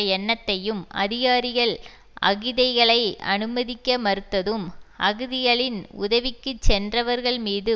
எண்ணத்தையும் அதிகாரிகள் அகிதைகளை அனுமதிக்க மறுத்ததும் அகிதிகளின் உதவிக்கு சென்றவர்கள்மீது